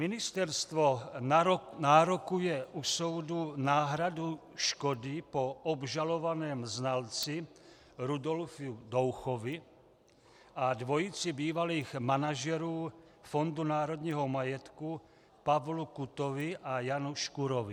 Ministerstvo nárokuje u soudu náhradu škody po obžalovaném znalci Rudolfu Douchovi a dvojici bývalých manažerů Fondu národního majetku Pavlu Kutovi a Janu Škurkovi.